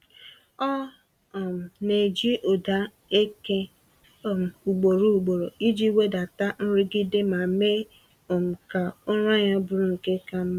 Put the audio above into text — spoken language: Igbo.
Ọ um na-eji ụda eke um ugboro ugboro iji wedata nrụgide ma mee um ka ụra ya bụrụ nke ka mma.